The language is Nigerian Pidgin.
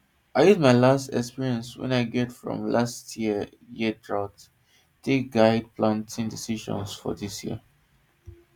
i use my experience wey i get from last year year drought take guide planting decisions for dis season